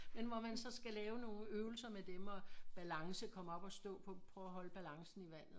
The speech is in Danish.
Men hvor man så skal lave nogen øvelser med dem og balance komme op og stå på prøve at holde balancen i vandet